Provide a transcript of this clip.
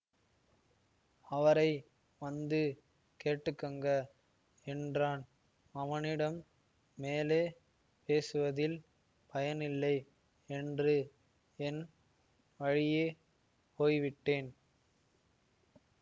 அவரை வந்து கேட்டுக்குங்க என்றான் அவனிடம் மேலே பேசுவதில் பயனில்லை என்று என் வழியே போய்விட்டேன்